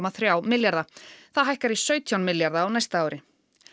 þrjú milljarða það hækkar í sautján milljarða á næsta ári